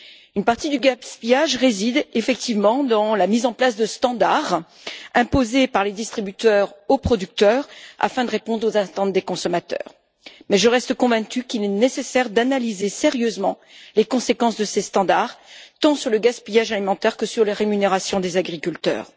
Une partie du gaspillage résulte effectivement de la mise en place de normes imposées par les distributeurs aux producteurs afin de répondre aux attentes des consommateurs. Mais je reste convaincue qu'il est nécessaire d'analyser sérieusement les conséquences de ces normes tant sur le gaspillage alimentaire que sur les rémunérations des agriculteurs.